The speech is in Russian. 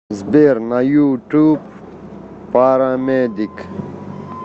сбер на ютуб парамедик